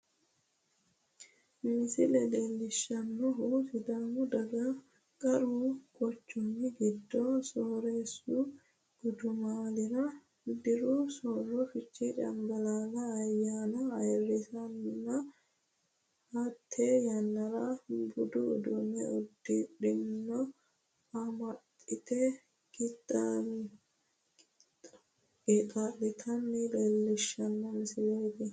Misile leelishanohu sidaamu daga qaru quchumi gido sooreesu gudumaalira diru sooro fichee canballaallate ayaanna ayirisanninna hate yannara budu uduune udidhenna amaxite qeexaa'litanna leelishano misileeti.